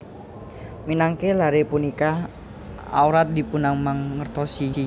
Minangka laré punika awrat dipunmangertosi